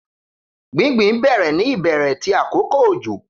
Gbingbin bẹrẹ ni ibẹrẹ ti akoko ojo